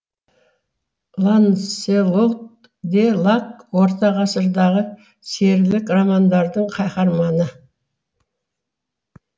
ланселот де лак орта ғасырдағы серілік романдардың қаһарманы